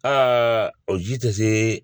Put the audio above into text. Aa ɔ ji tɛ se